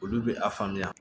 Olu bɛ a faamuya